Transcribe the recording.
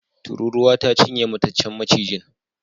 Tururuwa ta cinye mataccen macijin.